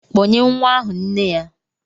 Kpọnye nwa ahụ nne ya!